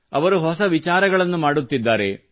ಇವರು ಹೊಸ ವಿಚಾರಗಳನ್ನು ಮಾಡುತ್ತಿದ್ದಾರೆ